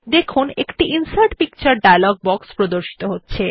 দেখুন একটি insert picture dialog box প্রদর্শিত হচ্ছে